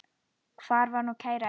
Hvar er nú kæra Eygló?